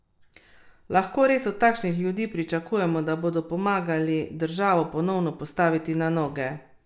Lahko res od takšnih ljudi pričakujemo, da bodo pomagali državo ponovno postaviti na noge?